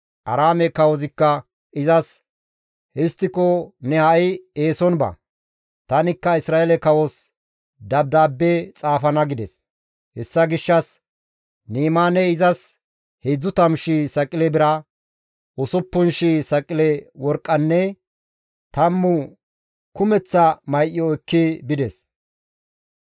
Aaraame kawozikka izas, «Histtiko ne ha7i eeson ba; tanikka Isra7eele kawos dabdaabbe xaafana» gides; hessa gishshas Ni7imaaney izas 30,000 saqile bira, 6,000 saqile worqqanne 10 kumeththa may7o ekki bides.